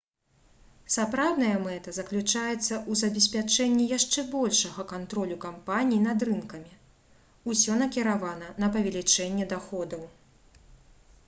сапраўдная мэта заключаецца ў забеспячэнні яшчэ большага кантролю кампаній над рынкамі усё накіравана на павелічэнне даходаў